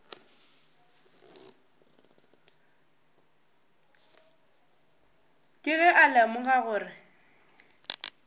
ke ge a lemoga gore